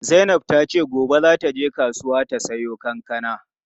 Zainab tace gobe za ta je kasuwa ta samo kankana.